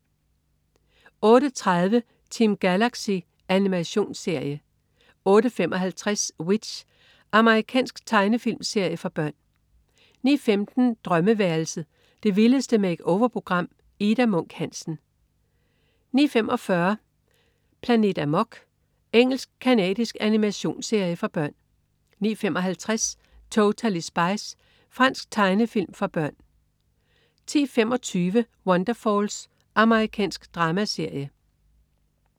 08.30 Team Galaxy. Animationsserie 08.55 W.i.t.c.h. Amerikansk tegnefilmserie for børn 09.15 Drømmeværelset. Det vildeste make-over-program. Ida Munk Hansen 09.45 Planet Amok. Engelsk-canadisk animationsserie for børn 09.55 Totally Spies. Fransk tegnefilm for børn 10.25 Wonderfalls. Amerikansk dramaserie